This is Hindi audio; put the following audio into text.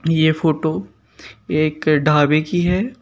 यह फोटो एक ढाबे की है।